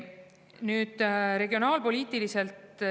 Nüüd, regionaalpoliitikast.